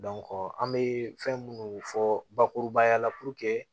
an bɛ fɛn minnu fɔ bakurubaya la